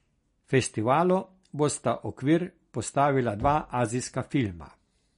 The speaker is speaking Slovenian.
Festivalu bosta okvir postavila dva azijska filma.